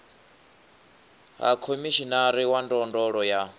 ha khomishinari wa ndondolo ya